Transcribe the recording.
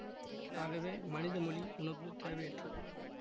ஆகவே மனித மொழி உனக்கு தேவையற்றது